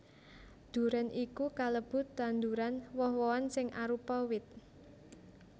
Durén iku kalebu tanduran woh wohan sing arupa wit